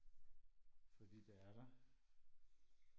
fordi det er der